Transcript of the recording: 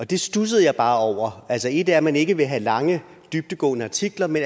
det studsede jeg bare over altså et er at man ikke vil have lange dybdegående artikler men